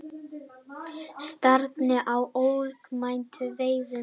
Staðnir að ólögmætum veiðum